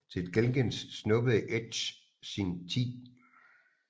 Til gengæld snuppede Edge sin 10